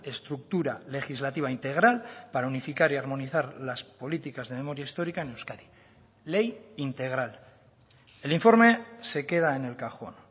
estructura legislativa integral para unificar y armonizar las políticas de memoria histórica en euskadi ley integral el informe se queda en el cajón